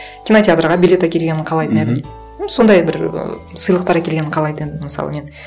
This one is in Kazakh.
кинотеатрға билет әкелгенін қалайтын едім м сондай бір і сыйлықтар әкелгенін қалайтын едім мысалы мен